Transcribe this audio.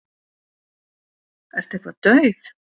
Ertu eitthvað dauf?